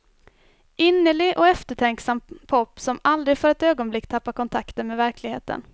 Innerlig och eftertänksam pop som aldrig för ett ögonblick tappar kontakten med verkligheten.